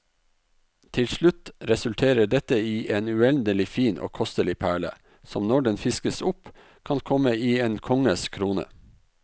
Til slutt resulterer dette i en uendelig fin og kostelig perle, som når den fiskes opp kan komme i en konges krone.